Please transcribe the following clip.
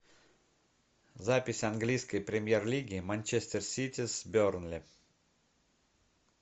запись английской премьер лиги манчестер сити с бернли